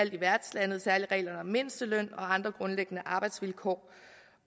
i værtslandet særlig reglerne om mindsteløn og andre grundlæggende arbejdsvilkår